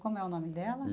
Como é o nome dela?